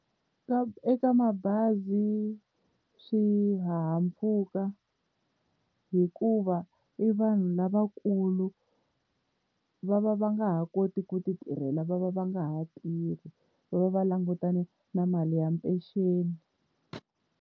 Ka eka mabazi, swihahampfhuka hikuva i vanhu lavakulu va va va nga ha koti ku titirhela va va va nga ha tirhi, va va va langutane na mali ya mpenceni.